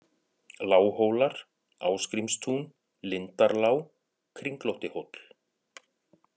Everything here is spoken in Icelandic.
Lághólar, Ásgrímstún, Lindarlá, Kringlóttihóll